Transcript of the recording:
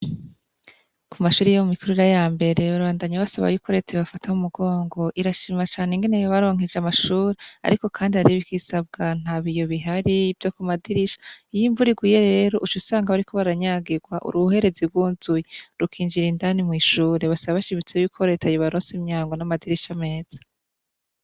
Kumashure yo mwikurira yambere babandanya basaba ko reta yobafata kumugongo irashima cane ingene yabaronkeje amashure ko nibisabwa ntabiyo bihari vyo kumadirisha iyimvura iguye rero ucusanga bariko baranyagirwa uruherezi ryuzuye rukinjira indani mwishure basa kandi reta ko yobaronse imiryango namashure meza